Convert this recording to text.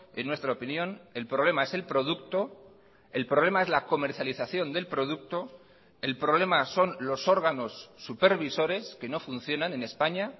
en nuestra opinión el problema es el producto el problema es la comercialización del producto el problema son los órganos supervisores que no funcionan en españa